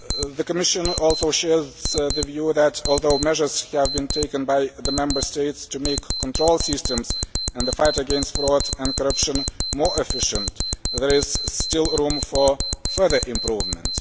The Commission also shares the view that, although measures have been taken by the Member States to make control systems in the fight against fraud and corruption more efficient, there is still room for further improvement.